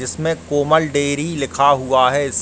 इसमें कोमल डेयरी लिखा हुआ है इस --